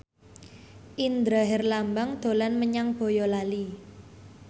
Indra Herlambang dolan menyang Boyolali